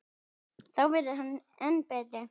Þá verður hann enn betri.